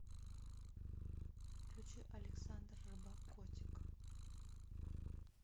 включи александ рыбак котик